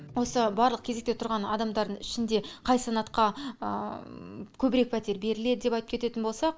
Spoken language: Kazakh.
осы барлық кезекте тұрған адамдардың ішінде қай санатқа көбірек пәтер беріледі деп айтып кететін болсақ